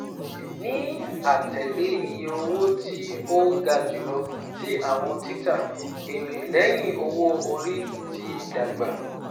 Ni atẹle iye owo ti o ga julọ ti awọn tita, Ere lẹhin owo-ori ti dagba